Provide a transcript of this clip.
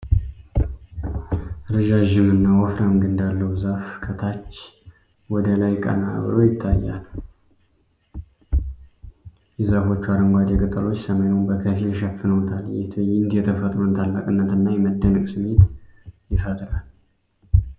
ረዣዥምና ወፍራም ግንድ ያለው ዛፍ ከታች ወደ ላይ ቀና ተብሎ ይታያል። የዛፎቹ አረንጓዴ ቅጠሎች ሰማዩን በከፊል ሸፍነውታል። ይህ ትዕይንት የተፈጥሮን ታላቅነትና የመደነቅ ስሜት ይፈጥራል።